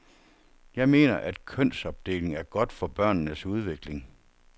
Jeg mener, at kønsopdeling er godt for børnenes udvikling.